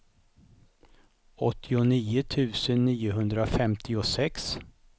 åttionio tusen niohundrafemtiosex